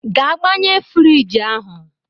Gaa gbanye friji ahụ!